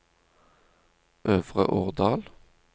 Øvre Årdal